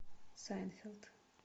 сайнфелд